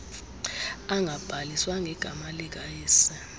angabhaliswa ngegama likayise